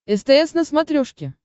стс на смотрешке